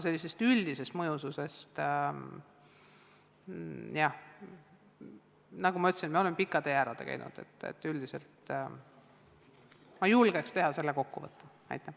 Üldisest mõjususest, jah, nagu ma ütlesin, me oleme pika tee ära käinud, nii et üldiselt ma julgeks teha sellise kokkuvõtte.